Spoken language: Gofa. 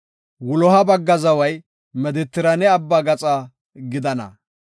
“Wuloha bagga zaway Medetiraane Abbaa gaxa gidana.